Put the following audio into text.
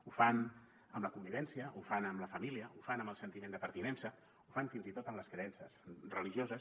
ho fan amb la convivència ho fan amb la família ho fan amb el sentiment de pertinença ho fan fins i tot en les creences religioses